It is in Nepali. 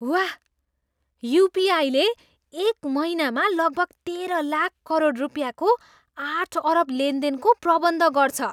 वाह! युपिआईले एक महिनामा लगभग तेह्र लाख करोड रुपियाँको आठ अरब लेनदेनको प्रबन्ध गर्छ।